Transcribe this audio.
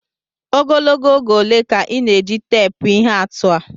Ogologo oge ole ka ị na-eji teepu ihe atụ a?